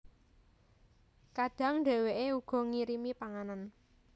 Kadang dhèwèké uga ngirimi panganan